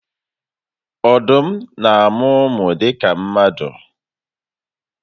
Odum na amu umu dika mmadu